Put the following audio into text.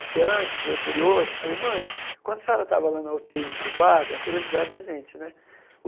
Porque antes, eu curioso, falei, mãe, quando a senhora estava lá na u tê í entubada, a curiosidade da gente, né?